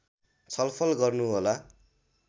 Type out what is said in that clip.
छलफल गर्नुहोला